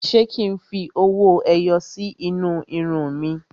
Ṣé kí n fi owó ẹyọ sí inú irun mi?